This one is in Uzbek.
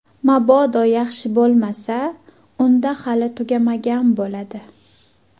Mabodo yaxshi bo‘lmasa, unda hali tugamagan bo‘ladi.